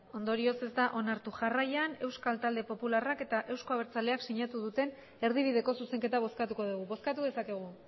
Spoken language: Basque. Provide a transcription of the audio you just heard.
ondorioz ez da onartu jarraian euskal talde popularrak eta euzko abertzaleak sinatu duten erdibideko zuzenketa bozkatuko dugu bozkatu dezakegu